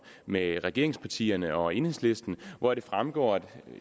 mellem regeringspartierne og enhedslisten hvoraf det fremgår og